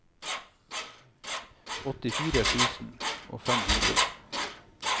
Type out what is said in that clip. åttifire tusen og fem hundre